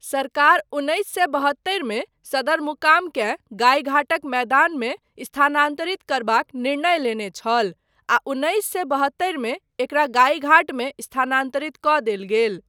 सरकार उन्नैस सए बहत्तरि मे सदरमुकामकेँ गाईघाटक मैदानमे स्थानान्तरित करबाक निर्णय लेने छल आ उन्नैस सए बहत्तरि मे एकरा गाईघाटमे स्थानान्तरित कऽ देल गेल।